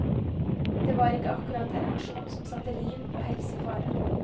Det var ikke akkurat en aksjon som satte liv og helse i fare.